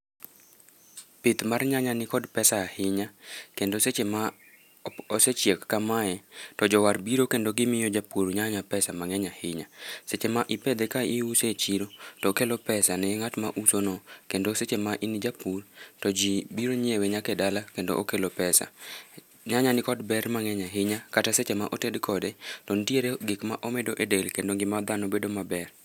Pith mar nyanya ni kod pesa ahinya kendo seche ma osechiek kamae to jowar biro kendo gimiyo japur nyanya pesa ma ng'eny ahinya seche ma ipethe ka iuso e chiro to okelo pesa ne nga'at ma uso no kendo seche ma in japur to biro nyiewe nyaka e dala kendo okelo pesa, nyanya ni kod ber mang'eny ahinya kata seche ma oted kode nitiere gik ma omedo e del kendo ng'ima dhano bedo maber.